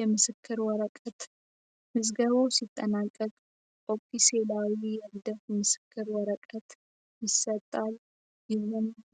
የምስክር ወረቀት ምዝገባው ሲጠናቀቅ ምስክር ወረቀት ይሰጣል